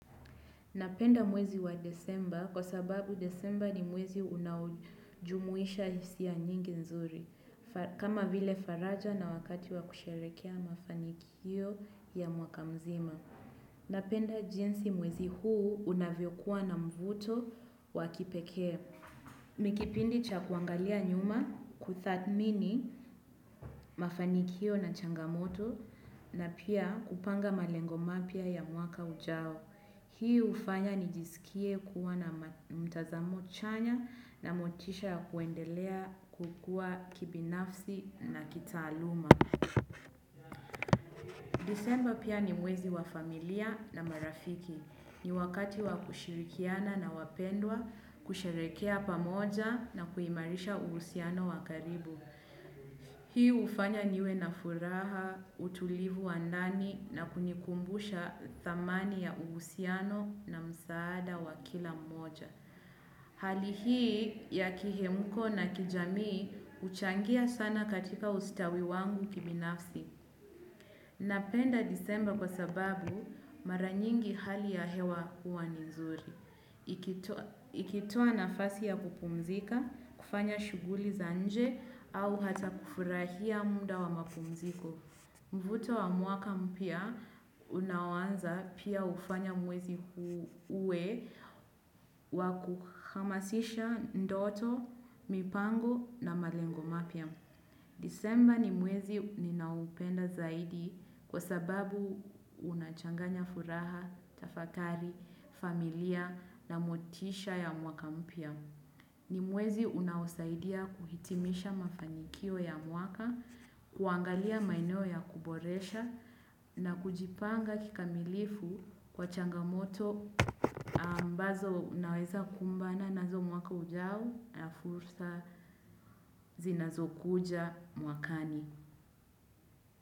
Napenda mwezi wa Desemba kwa sababu Desemba ni mwezi unajumuisha hisia ya nyingi nzuri kama vile faraja na wakati wa kusherehekea mafanikio ya mwaka mzima. Napenda jinsi mwezi huu unavyo kuwa na mvuto wakipekee. Ni kipindi cha kuangalia nyuma kuthamini mafanikio na changamoto na pia kupanga malengo mapya ya mwaka ujao. Hii hufanya nijisikie kuwa na mtazamo chanya na motisha ya kuendelea kukua kibinafsi na kitaaluma. Disemba pia ni mwezi wa familia na marafiki. Ni wakati wa kushirikiana na wapendwa, kusherekea pamoja na kuimarisha uhusiano wa karibu. Hii hufanya niwe na furaha, utulivu wa ndani na kunikumbusha thamani ya uhusiano na msaada wa kila moja. Hali hii ya kihemko na kijamii huchangia sana katika ustawi wangu kibinafsi. Napenda disemba kwa sababu mara nyingi hali ya hewa huwa nizuri. Ikitua nafasi ya kupumzika, kufanya shuguli za nje au hata kufurahia muda wa mapumziko. Mvuto wa muaka mpya, unaoanza pia hufanya mwezi uwe wakuhamasisha ndoto, mipango na malengo mapya. Disemba ni mwezi ninaoupenda zaidi kwa sababu unachanganya furaha, tafakari, familia na motisha ya mwaka mpya. Ni mwezi unaoasaidia kuhitimisha mafanikio ya mwaka, kuangalia maeneo ya kuboresha na kujipanga kikamilifu kwa changamoto ambazo unaweza kumbana nazo mwaka ujao na fursa zinazokuja mwakani.